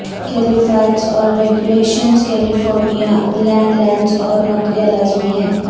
کیلیفائٹس اور regulations California land lands اور نوکریاں لازمی ہیں